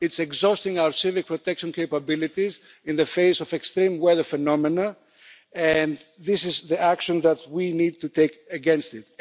It is exhausting our civic protection capabilities in the face of extreme weather phenomena, and this is the action that we need to take against it.